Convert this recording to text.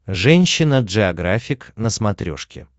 женщина джеографик на смотрешке